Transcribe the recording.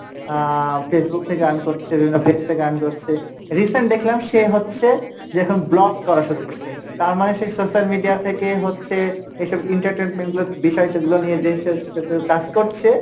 আহ Facebook থেকে earn করছে, বিভিন্ন page থেকে earn করছে recent দেখলাম সে হচ্ছে যে এখন vlog করা শুরু করসে তারমানে সে social media থেকে হচ্ছে এইসব entertainment গুলো বিষয়গুলো নিয়ে যে সে কাজ করছে,